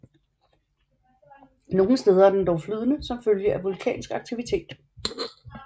Nogle steder er den dog flydende som følge af vulkansk aktivitet